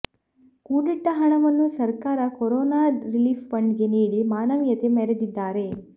ಕೂಡಿಟ್ಟ ಹಣವನ್ನು ಸರ್ಕಾರ ಕೊರೋನಾ ರಿಲೀಫ್ ಫಂಡ್ಗೆ ನೀಡಿ ಮಾನವೀಯತೆ ಮೆರೆದಿದ್ದಾರೆ